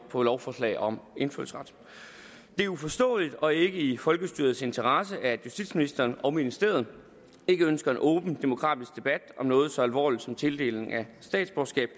på lovforslag om indfødsret det er uforståeligt og ikke i folkestyrets interesser at justitsministeren og ministeriet ikke ønsker en åben demokratisk debat om noget så alvorligt som tildeling af statsborgerskab